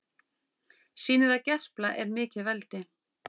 Sýnir að Gerpla er mikið veldi